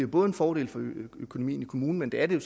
både en fordel for økonomien i kommunen men det er det